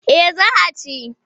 Eh za a ci.